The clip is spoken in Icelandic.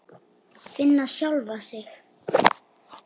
Finna sjálfa sig.